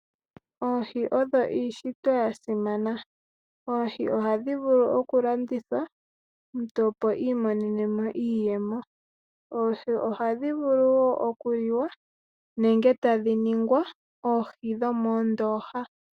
Oohi odho iishitwe yasimana. Oohi ohadhi vulu okulandithwa omuntu, opo iimonenemo iiyemo. Oohi ohadhi vulu wo okuliwa nenge tadhi ningwa oohi dhomoondoha.